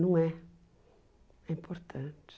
Não é. É importante.